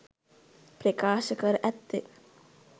ප්‍රකාශ කර ඇත්තේ